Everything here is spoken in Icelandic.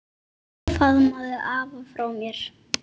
Faðmaðu afa frá mér.